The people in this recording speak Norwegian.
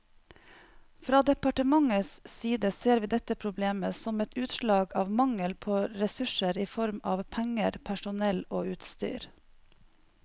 Fra departementets side ser vi dette problemet som et utslag av mangel på ressurser i form av penger, personell og utstyr.